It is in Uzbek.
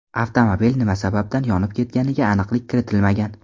Avtomobil nima sababdan yonib ketganiga aniqlik kiritilmagan.